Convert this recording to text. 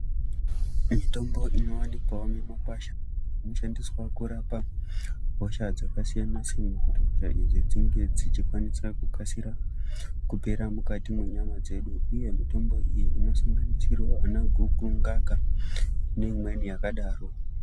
Mitombo inovanikwavo mumakwasha inoshandiswa kurapa hosha dzakasiyana-siyana. Kuti hosha idzi dzinge dzichikwanisa kukasira kupera mukati mwenyama dzedu, uye mitombo iyi inosanganisiravo vanaguku, ngaka neimweni yakadaro.